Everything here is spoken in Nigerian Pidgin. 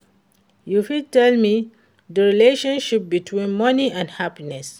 you fit tell me di relationship between money and happiness?